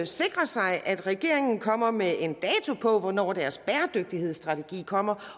sikrer sig at regeringen kommer med en dato på hvornår dens bæredygtighedsstrategi kommer